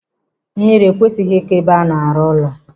Mmiri ekwesịghị ịkọ ebe a na-arụ ụlọ.